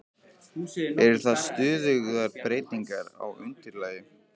Eru það stöðugar breytingar á undirlagi?